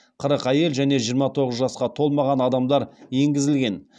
қырық әйел және жиырма тоғыз жасқа толмаған адамдар енгізілген